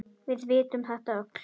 Við vitum þetta öll.